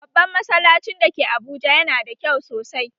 Babban masallacin da ke Abuja yana da kyau sosai